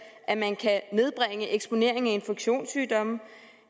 at man kan nedbringe eksponering af infektionssygdomme